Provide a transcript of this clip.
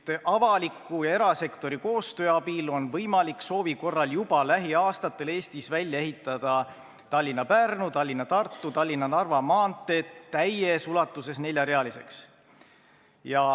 Ta ütles, et avaliku ja erasektori koostöö abil on võimalik soovi korral juba lähiaastatel Eestis välja ehitada Tallinna–Pärnu, Tallinna–Tartu ja Tallinna–Narva maantee täies ulatuses neljarealiseks.